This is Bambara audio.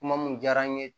Kuma mun diyara n ye